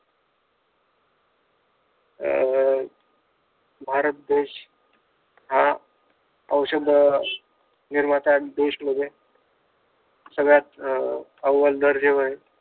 अं भारत देश हा औषध अं निर्माता देश मध्ये सगळ्यात अव्व्ल दर्जेवर